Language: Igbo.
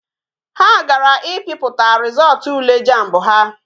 Ha gara i piputa rizootu ule jamb ha